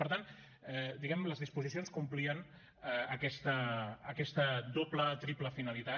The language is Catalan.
per tant diguem ne les disposicions complien aquesta doble triple finalitat